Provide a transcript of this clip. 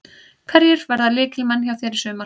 Hverjir verða lykilmenn hjá þér í sumar?